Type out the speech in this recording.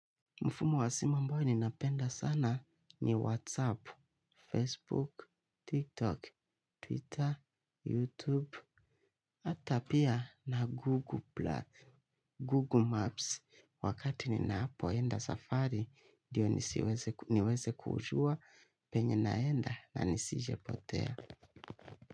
Mfumo wa simu ambao ninapenda sana ni WhatsApp, Facebook, TikTok, Twitter, YouTube, ata pia na Google Maps. Wakati ninapo enda safari, ndiyo niweze kujua, penye naenda na nisijepotea.